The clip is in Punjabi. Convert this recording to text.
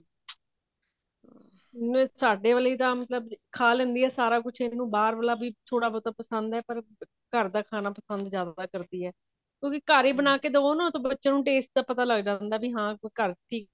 ਨਹੀਂ ਸਾਡੇ ਵਾਲੀ ਤਾਂ ਮਤਲਬ ਖਾ ਲੇੰਦੀ ਹੈ ਸਾਰਾ ਕੁੱਛ ਇਹਨੂੰ ਬਾਹਰ ਵਾਲਾ ਵੀ ਥੋੜਾ ਬਹੁਤਾ ਪਸੰਦ ਹੈ ਪਰ ਘਰ ਦਾ ਖਾਣਾ ਜਿਆਦਾ ਪਸੰਦ ਕਰਦੀ ਹੈ ਉਹ ਵੀ ਘਰੇ ਬਣਾਕੇ ਦਵੋ ਨਾ ਤਾਂ ਬੱਚੇ ਨੂੰ taste ਦਾ ਪਤਾ ਲਗ ਜਾਂਦਾ ਵੀ ਹਾਂ ਘਰ ਕਿ